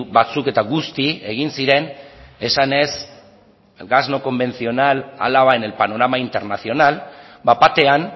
batzuk eta guzti egin ziren esanez gas no convencional álava en el panorama internacional bat batean